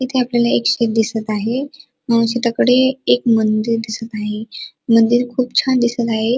इथे आपल्याला एक शेत दिसत आहे अ शेताकडे एक मंदिर दिसत आहे मंदिर खूप छान दिसत आहे.